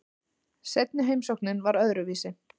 Seinni heimsóknin var öðruvísi.